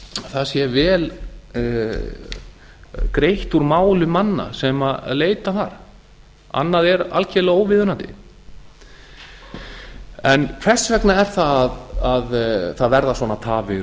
það sé vel greitt úr máli manna sem leita þar annað er algerlega óviðunandi hvers vegna er það að það verða svona tafir